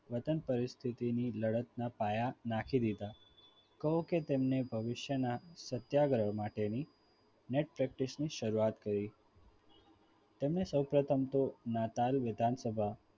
વતન પરિસ્થિતિની લડતના પાયા નાંખી દીધા એમ કહું કે તેમણે ભવિષ્યના સત્યાગ્રહ માટેની nt practice ની શરૂઆત કરી તેમણે સૌપ્રથમ તો નાતાલ વિધાનસભાના